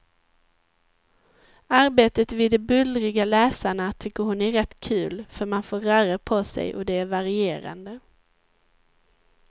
Arbetet vid de bullriga läsarna tycker hon är rätt kul, för man får röra på sig och det är varierande.